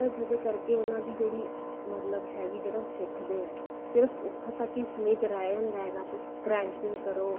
ਜਿਹਦੇ ਕਰਕੇ ਉਹਨਾ ਦੀ ਜਿਹੜੀ ਮਤਲਬ ਹੈ ਵੀ ਜਿਹੜਾ ਉਹ ਸਿੱਖਦੇ ਆ ਸਿਰਫ ਉੱਥੋਂ ਤੱਕ ਹੀ ਸੀਮਿਤ ਰਹੀ ਜਾਂਦਾ ਬੱਸ cramping ਕਰੋ